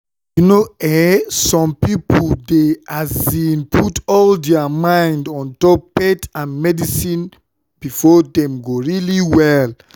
you know eh some pipo dey put all dia mind ontop faith and medicine befor dem go really well?